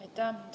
Aitäh!